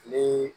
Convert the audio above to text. Ni